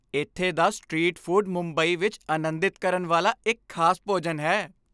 ਇੱਥੇ ਦਾ street food Mumbai ਵਿੱਚ ਅਨੰਦਿਤ ਕਰਨ ਵਾਲਾ ਇੱਕ ਖ਼ਾਸ ਭੋਜਨ ਹੈ।